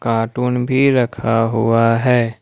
Cartoon भी रखा हुआ है।